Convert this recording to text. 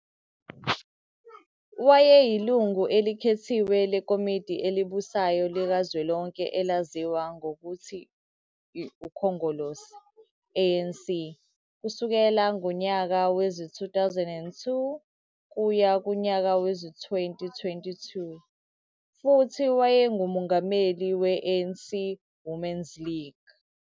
Wayeyilungu elikhethiwe leKomidi elibusayo likazwelonke elaziwa ngokuthi I-UKhongolose, ANC, kusukela ngonyaka wezi-2002 kuya kunyaka wezi-2022 futhi wayenguMongameli we-ANC Women's League